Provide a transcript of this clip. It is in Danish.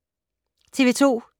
TV 2